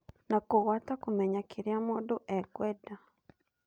Na kũgũata kũmenya kĩrĩa mũndũ ekwenda.